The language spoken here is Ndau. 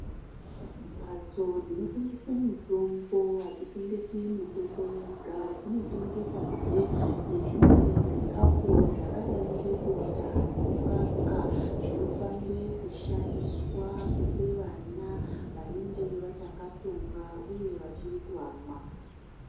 Mbatso dzinotengese mitombo hadzitengesi mitombo yega. Dzinotengesazve nezvimwe zvikafu zvakadai ngebota nemukaka zvinofanire kushandiswa kupe vana vanenge vachakatsonga uye vachiri kuamwa.